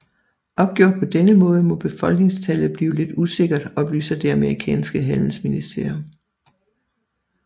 Opgjort på denne måde må befolkningstallet blive lidt usikkert oplyser det amerikanske handelsministerium